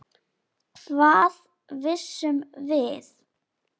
Hvað vissum við?